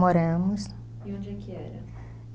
Moramos. E onde é que era?